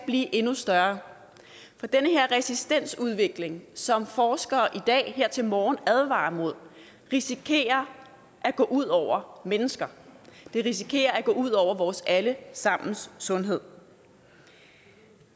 bliver endnu større for den her resistensudvikling som forskere i dag her til morgen advarer mod risikerer at gå ud over mennesker den risikerer at gå ud over vores alle sammens sundhed